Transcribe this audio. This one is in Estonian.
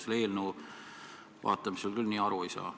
Seda eelnõu vaadates ma küll nii aru ei saa.